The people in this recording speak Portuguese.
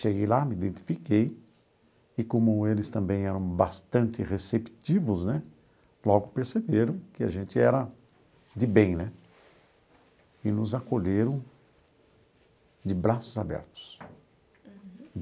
Cheguei lá, me identifiquei, e como eles também eram bastante receptivos né, logo perceberam que a gente era de bem né, e nos acolheram de braços abertos.